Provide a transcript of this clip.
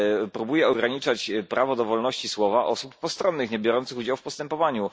Próbuje ograniczać prawo do wolności słowa osób postronnych, niebiorących udziału w postępowaniu.